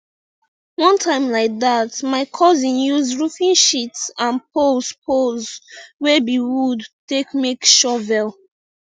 one time like dat my cousin use roofing sheets and poles poles wey be wood take make shovel